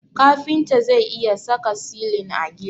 Kafinta zai iya saka silin a gida.